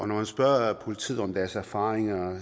når man spørger politiet om deres erfaringer